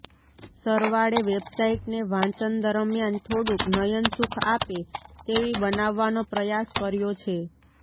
સરવાળે વેબસાઈટને વાંચન દરમ્યાન થોડુંક નયનસુખ આપે તેવી બનાવવાનો પ્રયાસ કર્યો છે